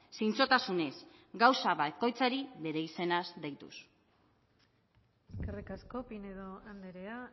zintzotasunez gauza bakoitzari bere izenaz deituz eskerrik asko pinedo andrea